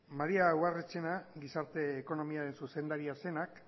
maria ubarretxena gizarte ekonomiaren zuzendaria zenak